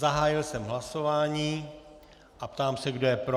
Zahájil jsem hlasování a ptám se, kdo je pro.